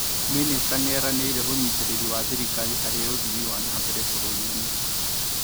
Mĩnĩsta nĩeranĩire ũnyitirĩri wa thirikarĩ harĩ uthii wa nambere bũrũri-inĩ